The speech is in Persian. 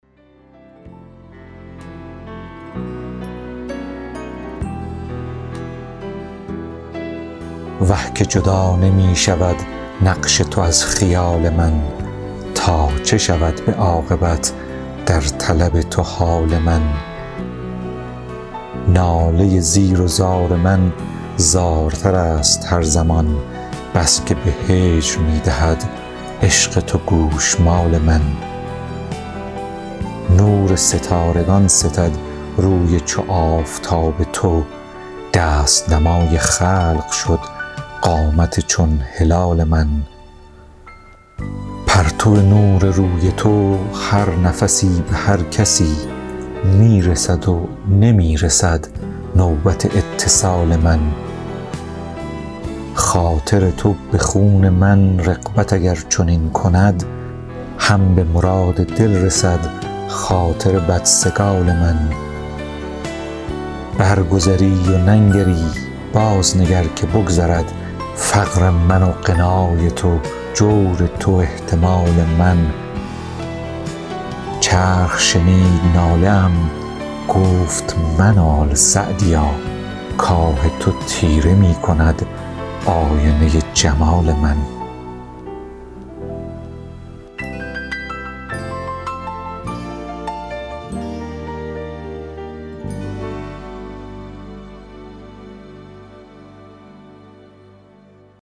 وه که جدا نمی شود نقش تو از خیال من تا چه شود به عاقبت در طلب تو حال من ناله زیر و زار من زارتر است هر زمان بس که به هجر می دهد عشق تو گوشمال من نور ستارگان ستد روی چو آفتاب تو دست نمای خلق شد قامت چون هلال من پرتو نور روی تو هر نفسی به هر کسی می رسد و نمی رسد نوبت اتصال من خاطر تو به خون من رغبت اگر چنین کند هم به مراد دل رسد خاطر بدسگال من برگذری و ننگری بازنگر که بگذرد فقر من و غنای تو جور تو و احتمال من چرخ شنید ناله ام گفت منال سعدیا کآه تو تیره می کند آینه جمال من